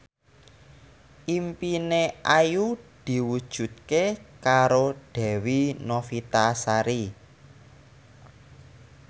impine Ayu diwujudke karo Dewi Novitasari